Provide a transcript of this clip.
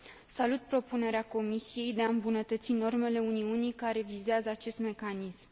Salut propunerea Comisiei de a îmbunătăți normele Uniunii care vizează acest mecanism.